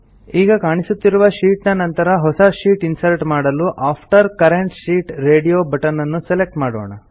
ಈಗ ಕಾಣಿಸುತ್ತಿರುವ ಶೀಟ್ ನ ನಂತರ ಹೊಸ ಶೀಟ್ ಇನ್ಸರ್ಟ್ ಮಾಡಲು after current sheet radio button ನ್ನು ಸೆಲೆಕ್ಟ್ ಮಾಡೋಣ